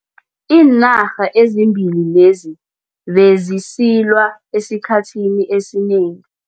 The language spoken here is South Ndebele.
Iinarha ezimbili lezi bezisilwa esikhathini esinengi.